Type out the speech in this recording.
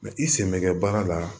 i sen bɛ baara la